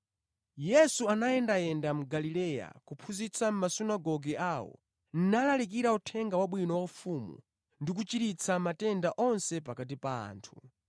Yesu anayendayenda mu Galileya kuphunzitsa mʼmasunagoge awo, nalalikira Uthenga Wabwino wa ufumu ndi kuchiritsa matenda onse pakati pa anthu.